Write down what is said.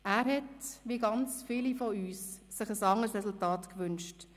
Er hätte sich, wie viele von uns, ein anderes Resultat gewünscht.